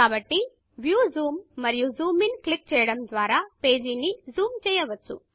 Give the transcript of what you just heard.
కాబట్టి view zoom మరియు zoom in click చేయడం ద్వారా పేజీని జూమ్ చెయ్యవచ్చు